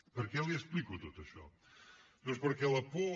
per què li explico tot això doncs perquè la por